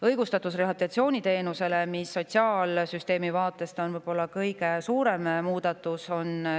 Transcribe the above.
Õigus rehabilitatsiooniteenusele on sotsiaalsüsteemi vaatest võib-olla kõige suurem muudatus.